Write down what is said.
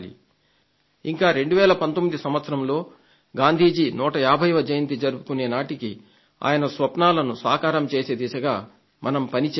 ఇంకా 2019 సంవత్సరంలో గాంధీ గారు 150వ జయంతి జరుపుకునే నాటికి ఆయన స్వప్నాలను సాకారం చేసే దిశగా మనం పనిచేయాలి